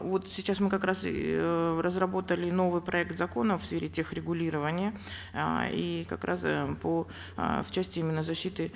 вот сейчас мы как раз и э разработали новый проект закона в сфере тех регулирования э и как раз э по э в части именно защиты